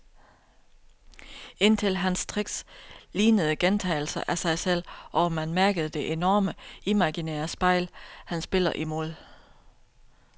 Indtil hans tricks lignede gentagelser af sig selv, og man mærkede det enorme, imaginære spejl, han spiller imod.